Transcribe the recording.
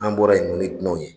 An bɔra yen nɔ ni dunanw ye